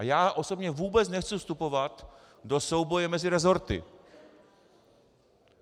A já osobně vůbec nechci vstupovat do souboje mezi resorty.